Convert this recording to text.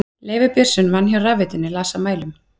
Leifur Björnsson vann hjá rafveitunni, las af mælum.